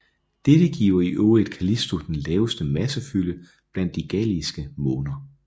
Dette giver i øvrigt Callisto den laveste massefylde blandt de galileiske måner